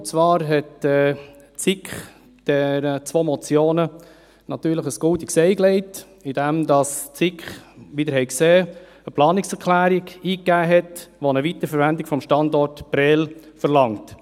Die SiK legte den zwei Motionen ein goldenes Ei, indem die SiK – wie Sie gesehen haben – eine Planungserklärung eingegeben hat, die eine Weiterverwendung des Standorts Prêles verlangt.